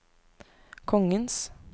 kongens